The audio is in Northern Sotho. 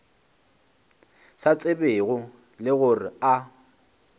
sa tsebego le gore a